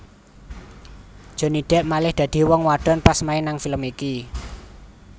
Johnny Depp malih dadi wong wadon pas main nang film iki